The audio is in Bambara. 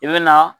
I bɛ na